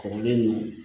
Kɔrɔlen nun